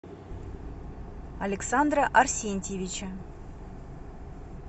александра арсентьевича